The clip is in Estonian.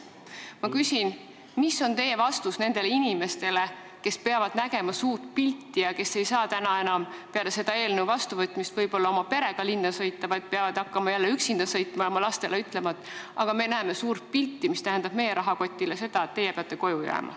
Ma küsin, mis on teie vastus nendele inimestele, kes ei saa peale selle eelnõu vastuvõtmist enam võib-olla oma perega linna sõita, vaid peavad hakkama jälle üksinda sõitma ja oma lastele ütlema: aga me näeme suurt pilti, see tähendab meie rahakotile seda, et teie peate koju jääma.